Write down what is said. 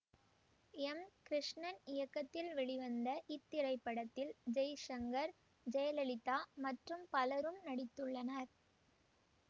M Krishnan இயக்கத்தில் வெளிவந்த இத்திரைப்படத்தில் ஜெய்சங்கர் ஜெயலலிதா மற்றும் பலரும் நடித்துள்ளனர்